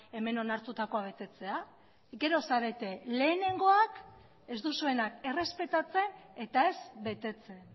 hemen onartutakoa betetzea gero zarete lehenengoak ez duzuenak errespetatzen eta ez betetzen